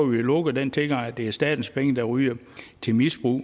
vi lukket den tilgang at det er statens penge der ryger til misbrug